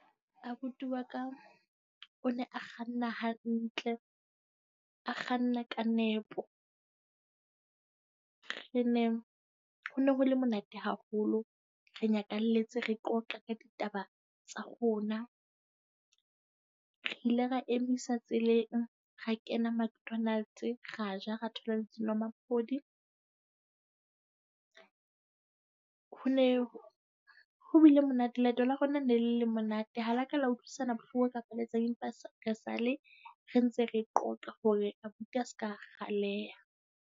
Abuti wa ka o ne a kganna hantle, a kganna ka nepo. Re na ho ne ho le monate haholo, re nyakalletse re qoqe ka ditaba tsa rona. Re ile ra emisa tseleng. Ra kena Mcdonald, ra ja, re thola le dinomaphodi. Ho ho bile monate. Leeto la rona ne le monate. Ha la ka la utlwisisana bohloko ka etsang . Esale re ntse re qoqa hore abuti a seka kgaleha.